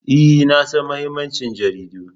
E, na san mahimmancin jaridu.